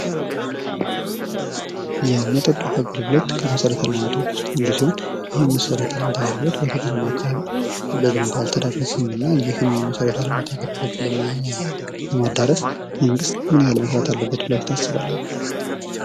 የመጠጥ ውሃ አገልግሎት ከመሰረተ ልማቶች ውስጥ አንዱ ሲሆን ይህ የመሰረተ ልማት አገልግሎት በገጠራማ አካባቢ በደንብ አልተዳረሰም እና ይህን መሰረተ ልማት አገልግሎት ለማዳረስ መንግስት ምን ያክል መስራት አለበት ብላችሁ ታስባላችሁ ?